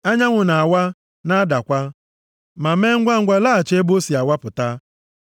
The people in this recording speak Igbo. Anyanwụ na-awa, na-adakwa, ma mee ngwangwa laghachi ebe o si awapụta.